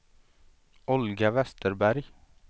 Olga Westerberg